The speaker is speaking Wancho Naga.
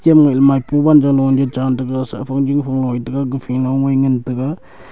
kem ngai ley maipu wanjao lo ja chan taga sah fang jingfang loi taga gafa nongai ngan taga.